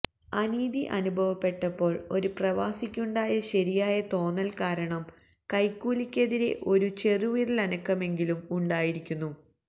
അനീതി അനുഭവപ്പെട്ടപ്പോൾ ഒരു പ്രവാസിക്കുണ്ടായ ശരിയായ തോന്നൽ കാരണം കൈക്കൂലി ക്കെതിരെ ഒരു ചെറുവിരലനക്കമെങ്കിലും ഉണ്ടായിരിക്കുന്നു